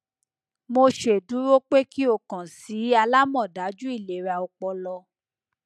mo ṣeduro pe ki o kan si alamọdaju ilera ọpọlọ